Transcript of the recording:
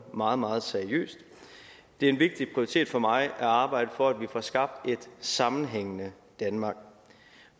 meget meget seriøst det er en vigtig prioritet for mig at arbejde for at vi får skabt et sammenhængende danmark